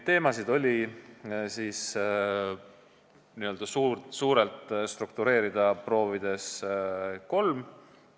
Teemasid oli n-ö suurelt struktureerida proovides kolm.